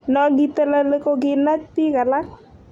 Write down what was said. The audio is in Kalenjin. No kiteleli kokinach bik alak